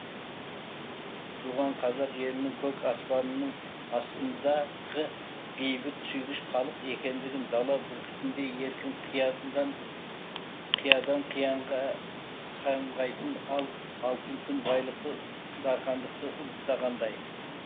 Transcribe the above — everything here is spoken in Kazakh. туған қазақ елінің көк аспанның астындағы бейбіт сүйгіш халық екендігін дала бүркітіндей еркін қиядан қиянға самғайтын ал алтын күн байлықты дархандықты ұлықтағандай